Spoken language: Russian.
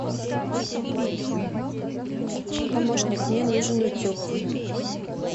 помощник мне нужен утюг